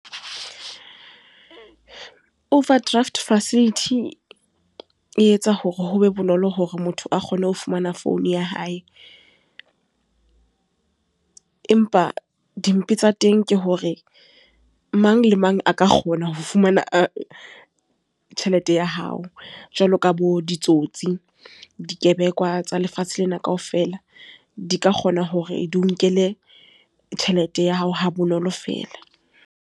Overdraft facility e etsa hore ho be bonolo hore motho a kgone ho fumana founu ya hae. Empa dimpe tsa teng ke hore, mang le mang a ka kgona ho fumana tjhelete ya hao. Jwalo ka bo ditsotsi, dikebekwa tsa lefatshe lena kaofela. Di ka kgona hore di o nkele tjhelete ya hao ha bonolo feela.